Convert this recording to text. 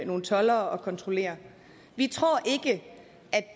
nogle toldere og kontrollere vi tror ikke